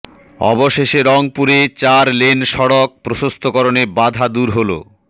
অবশেষে রংপুরে চার লেন সড়ক প্রশস্তকরণে বাধা দূর হলো